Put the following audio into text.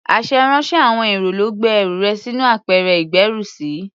Aṣèrànwọ́ àwọn èrò ló gbé ẹrù rẹ sínú apẹ̀rẹ̀ ìgbérùsí.